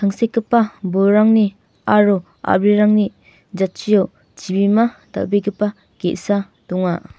tangsekgipa bolrangni aro a·brirangni jatchio chibima dal·begipa ge·sa donga.